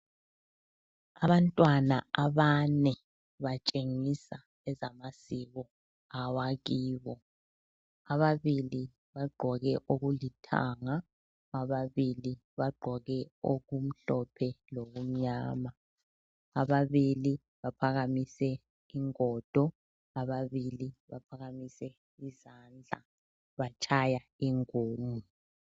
Abantwana abane batshengisa ezamasiko awakibo. Ababili Bagqoke okuluthanga, ababili bagqoke okumhlophe lokumnyama. Ababili baphakamise ingodo, ababili baphakamise izandla, batshaya ingungu.